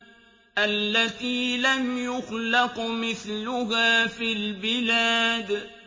الَّتِي لَمْ يُخْلَقْ مِثْلُهَا فِي الْبِلَادِ